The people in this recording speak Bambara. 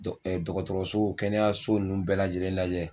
Dɔ dɔgɔtɔrɔso kɛnɛyaso ninnu bɛɛ lajɛlen lajɛ.